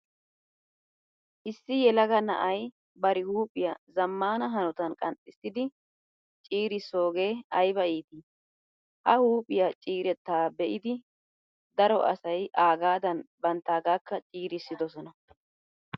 Issi yelaga na''ayi bar huuphphiyaa zammaana hanotan qanxxissidi ciirissoogee ayiba l''ii. Ha huuphphiyaa ciiretta be'idi daro asayi aagadan banttaagaakka ciirissidosona.